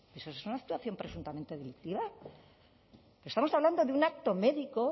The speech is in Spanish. eso es una actuación presuntamente delictiva estamos hablando de un acto médico